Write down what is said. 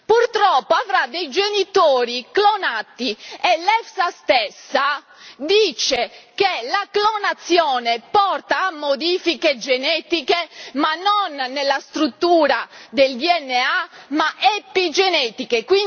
purtroppo avrà dei genitori clonati e l'EFSA stessa dice che la clonazione porta a modifiche genetiche, ma non nella struttura del DNA, ma epigenetiche.